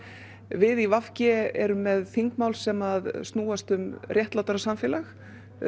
við í v g erum með þingmál sem snúast um réttlátara samfélag